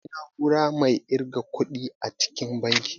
Akwai na'ura mai irga ƙuɗi a cikin banki